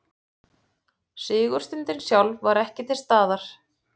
Sigurstundin sjálf var ekki til staðar